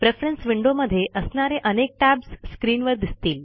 preference विंडोमधे असणारे अनेक टॅब्ज स्क्रीनवर दिसतील